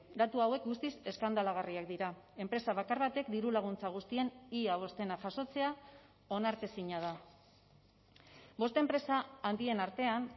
datu hauek guztiz eskandalagarriak dira enpresa bakar batek diru laguntza guztien ia bostena jasotzea onartezina da bost enpresa handien artean